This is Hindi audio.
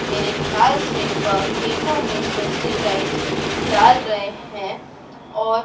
मेरे ख्याल से खेतों में प्रेस्टीज सीड डाल रहे है और--